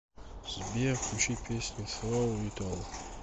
сбер включи песню сроу ит ол